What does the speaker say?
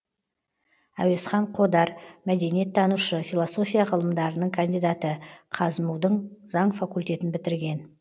әуезхан қодар мәдениеттанушы философия ғылымдарының кандидаты қазму дың заң факультетін бітірген